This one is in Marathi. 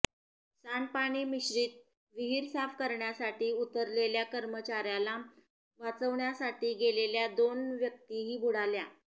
सांडपाणी मिश्रित विहीर साफ करण्यासाठी उतरलेल्या कर्मचाऱ्याला वाचवण्यासाठी गेलेल्या दोन व्यक्तीही बुडाल्या